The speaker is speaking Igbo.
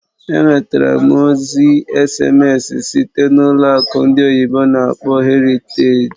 Enwetara m ozi èsèmésị site na ụlọ akụ ndị oyibo n'akpọ "Heritage".